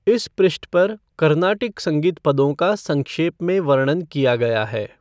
इस पृष्ठ पर कर्नाटिक संगीत पदों का संक्षेप में वर्णन किया गया है।